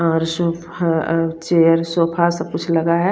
Sofa सा कुछ लगा है।